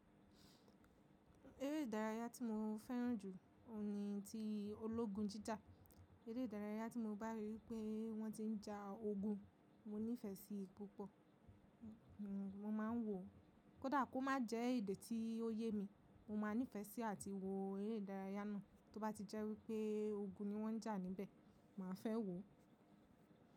Eré ìdárayá tí mo fẹ́ràn jù ni ti ológun jíjà. Eré ìdárayá tí mo bá rí pé wọ́n ti ń ja ogun, mo nífẹ̀ẹ́ sí i púpọ̀. Mo máa ń wò ó. Kódà kó má jẹ́ èdè tí ó yé mi, mo máa nífẹ̀ẹ́ sí àti wo eré ìdárayá náà. Tó bá ti jẹ́ wípé ogun ni wọ́n ń jà níbẹ̀, màá fẹ́ wò ó.